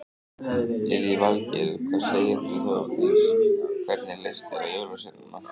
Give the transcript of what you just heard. Lillý Valgerður: Hvað segir þú Þórdís, hvernig leist þér á jólasveinana?